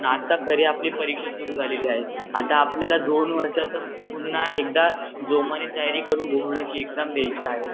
आत्ता खरी आपली परीक्षा सुरु झालेली आहे आत आपल्यला दोन वर्षाच पुन्हा एकदा जोमाने तयारी करूनच एक्जाम द्याची आहे